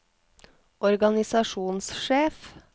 organisasjonssjef